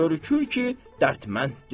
Görükür ki, dərdmənddir.